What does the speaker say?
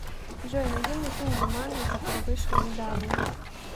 джой найди мне фильм джуманджи который вышел недавно